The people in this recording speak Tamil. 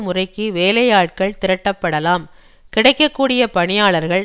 முறைக்கு வேலையாட்கள் திரட்டப்படலாம் கிடைக்க கூடிய பணியாளர்கள்